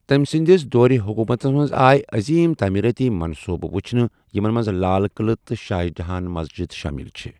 تٔمۍ سٕنٛدِس دورِ حُکوٗتس منٛز آیہِ عٔظیٖم تعٲمیٖرٲتی منٛصوبہٕ وٕچھنہٕ یِمن منٛز لال قِلعہٕ تہٕ شاہ جہان مسجد شٲمِل چھِ ۔